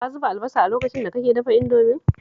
Ka zuba albasa lokacin da kake dafa Indomin?